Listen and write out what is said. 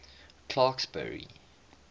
clarksburry